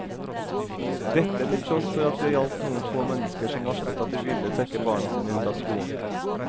Dette til tross for at det gjaldt noen få mennesker som varslet at de ville trekke barna sine ut av skolen.